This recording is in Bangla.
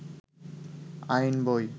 আইন বই